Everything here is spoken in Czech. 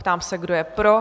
Ptám se, kdo je pro?